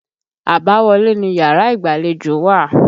Àbáwọlé niyàrá ìgbàlejò wà.